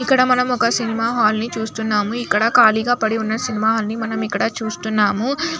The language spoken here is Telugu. ఇక్కడ మనం ఒక సినిమా హాల్ ని చూస్తున్నాము. ఇక్కడ కాలిగా పడి ఉన్న సినిమా హాల్ ని మనం ఇక్కడ చూస్తున్నాము .